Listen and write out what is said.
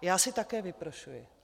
Já si také vyprošuji.